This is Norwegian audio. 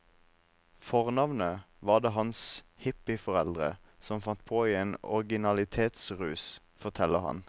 Fornavnet var det hans hippieforeldre som fant på i en originalitetsrus, forteller han.